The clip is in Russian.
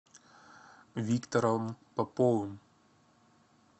виктором поповым